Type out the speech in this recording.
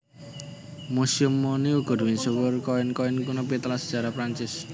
Museum Monnie uga misuwur nyimpen koin koin kuno patilasan sajarah Prancis